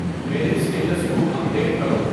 میرے سٹیٹس کو update کرو